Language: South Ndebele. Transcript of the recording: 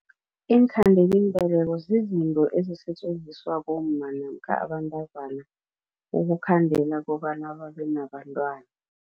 Iinkhandelambeleko zizinto ezisetjenziswa bomma namkha abantazana ukukhandela kobana babenabantwana.